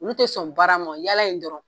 Olu te sɔn baarama yalala in dɔrɔn